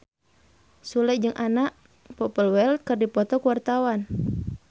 Sule jeung Anna Popplewell keur dipoto ku wartawan